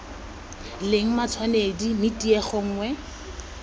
leng matshwanedi mme tiego nngwe